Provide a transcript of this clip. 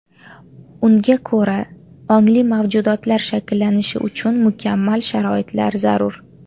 Unga ko‘ra, ongli mavjudotlar shakllanishi uchun mukammal sharoitlar zarur.